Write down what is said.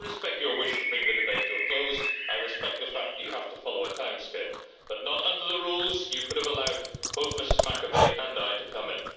I respect your wish to bring the debate to a close, I respect the fact that you have to follow a timescale, but under the rules you could have allowed both Ms Macovei and me to come in.